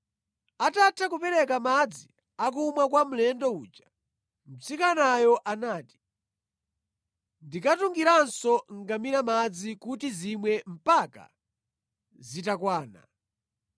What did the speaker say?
Atatha kupereka madzi akumwa kwa mlendo uja, mtsikanayo anati, “Ndikatungiranso ngamira madzi kuti zimwe mpaka zitakwana.”